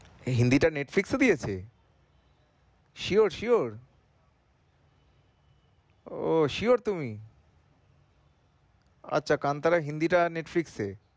হিন্দিটা Netflix এ দিয়েছে? sure sure ওহ sure তুমি আচ্ছা কান্তরা হিন্দিটা Netflix এ